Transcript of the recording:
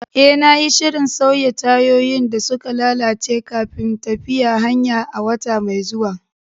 Eh, na yi shirin sauya tayoyin da suka lalace kafin tafiyar hanya a wata mai zuwa.